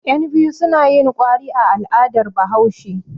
Yanbiyu suna yin kwari a al'adar Bahaushe.